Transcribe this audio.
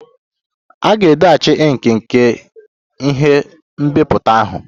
A ga-edochi ink nke ihe nbipute ahụ.